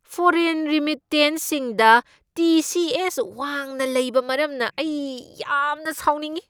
Foreign ꯔꯤꯃꯤꯠꯇꯦꯟꯁꯁꯤꯡꯗ T. C. S. ꯋꯥꯡꯅ ꯂꯩꯕ ꯃꯔꯝꯅ ꯑꯩ ꯌꯥꯝꯅ ꯁꯥꯎꯅꯤꯡꯏ ꯫